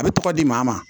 A bɛ tɔgɔ di maa ma